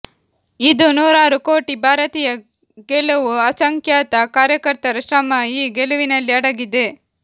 ಇದು ನೂರಾರು ಕೋಟಿ ಭಾರತೀಯ ಗೆಲುವು ಅಸಂಖ್ಯಾತ ಕಾರ್ಯಕರ್ತರ ಶ್ರಮ ಈ ಗೆಲುವಿನಲ್ಲಿ ಅಡಗಿದೆ